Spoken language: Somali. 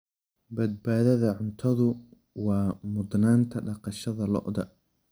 Badbaadada cuntadu waa mudnaanta dhaqashada lo'da.